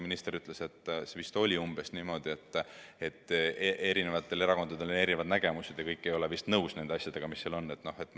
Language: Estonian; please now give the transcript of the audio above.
Minister ütles umbes niimoodi, et erinevatel erakondadel on erinevad nägemused ja kõik ei ole vist nõus nende asjadega, mis selles eelnõus on.